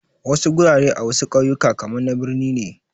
Wasu gurare a wasu kauyuka kaman na birni ne